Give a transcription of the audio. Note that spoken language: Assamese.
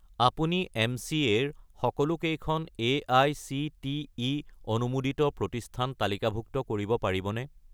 আপুনি এম.চি.এ. ৰ সকলোকেইখন এআইচিটিই অনুমোদিত প্ৰতিষ্ঠান তালিকাভুক্ত কৰিব পাৰিবনে?